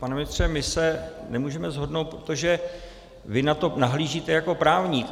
Pane ministře, my se nemůžeme shodnout, protože vy na to nahlížíte jako právník.